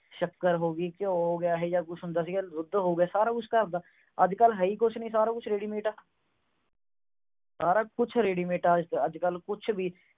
ਸ਼ੱਕਰ ਹੋ ਗਈ ਕਿਉਂ ਹੋ ਗਿਆ ਐਹੋ ਜੇਹਾ ਕੁਛ ਹੁੰਦਾ ਸੀਗਾ ਦੁੱਧ ਹੋ ਗਏ ਸਾਰਾ ਕੁਝ ਘਰ ਦਾ ਅੱਜ ਕੱਲ ਹੈ ਹੀ ਕੁਝ ਨਹੀਂ ਸਾਰਾ ਕੁਝ ready mate ਆ ਸਾਰਾ ਕੁਝ ready mate ਆ ਕੁਝ ਵੀ